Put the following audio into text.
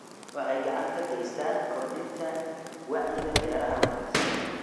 Waxay gacan ka geystaan ??kordhinta wacyiga beeraha wanaagsan.